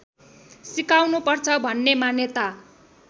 सिकाउनुपर्छ भन्ने मान्यता